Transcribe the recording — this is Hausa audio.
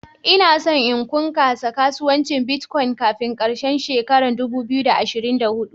Ina son in kunkasa kasuwancin " Bitcoin" kafin karshen shekaran dubu biyu da ashirin da hudu.